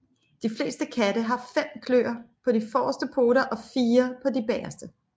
De fleste katte har fem klør på de forreste poter og fire på de bagerste